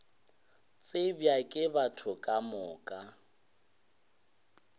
tsebja ke batho ka moka